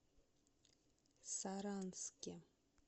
саранске